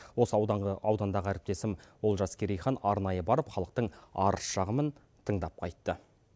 осы аудандағы әріптесім олжас керейхан арнайы барып халықтың арыз шағымын тыңдап қайтты